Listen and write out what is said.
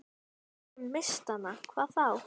Lagið líður áfram í mjúkum valstakti.